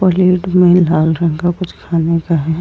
बोलेड में लाल रंग का कुछ खाने का है।